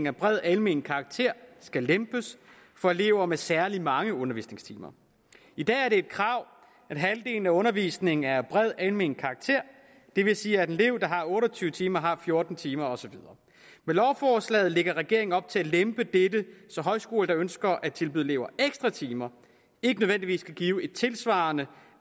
af bred almen karakter skal lempes for elever med særlig mange undervisningstimer i dag er det et krav at halvdelen af undervisningen er af bred almen karakter det vil sige at en elev der har otte og tyve timer har fjorten timer og så videre med lovforslaget lægger regeringen op til at lempe dette så højskoler der ønsker at tilbyde elever ekstra timer ikke nødvendigvis skal give et tilsvarende